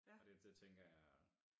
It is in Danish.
Og det det tænker jeg er